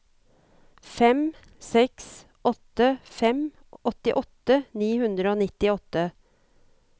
fem seks åtte fem åttiåtte ni hundre og nittiåtte